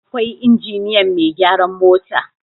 akwai injiniyan Mai gyaran mota